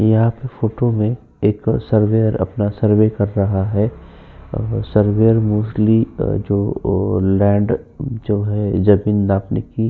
यह फोटो में एक सर्वेयर अपना सर्वे कर रहा है। सर्वेयर मोस्टली जो अ लैन्ड जो है अ जमीन नापने की --